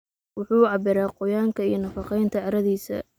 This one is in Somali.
Wuxuu cabbiraa qoyaanka iyo nafaqeynta carradiisa.